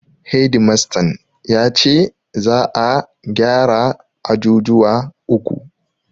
Hedi mastan ya ce za'a gyara ajujuwa uku.